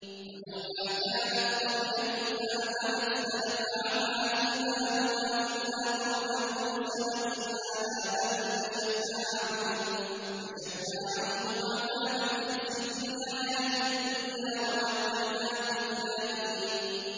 فَلَوْلَا كَانَتْ قَرْيَةٌ آمَنَتْ فَنَفَعَهَا إِيمَانُهَا إِلَّا قَوْمَ يُونُسَ لَمَّا آمَنُوا كَشَفْنَا عَنْهُمْ عَذَابَ الْخِزْيِ فِي الْحَيَاةِ الدُّنْيَا وَمَتَّعْنَاهُمْ إِلَىٰ حِينٍ